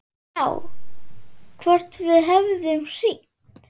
Já, hvort við hefðum hringt.